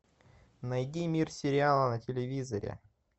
найди мир сериала на телевизоре